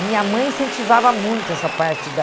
A minha mãe incentivava muito essa parte da...